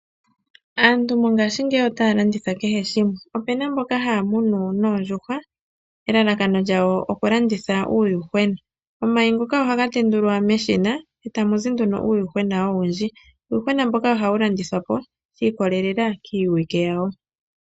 Aantu mongaashingeyi otaa landitha kehe shimwe. Opu na mbono haa muna oondjuhwa nelalakano okulanditha uuyuhwena. Omayi ngoka ohaga tendulwa meshina eta mu zi nduno uuyuhwena owundji. Oha wu landithwapo shi ikolelela kiiwike yawo.